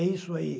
É isso aí.